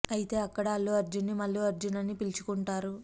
అయితే అక్కడ అల్లు అర్జున్ ని మల్లు అర్జున్ అని పిలుచుకుంటారు